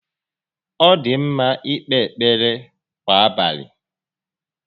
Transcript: Ọ dị ḿmá íkpé ekpere kwà abalị